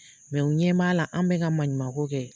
Mɛ u ɲɛ b'a la an bɛ ka maɲuman ko kɛ.